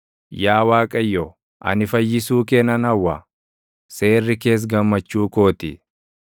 Yaa Waaqayyo, ani fayyisuu kee nan hawwa; seerri kees gammachuu koo ti.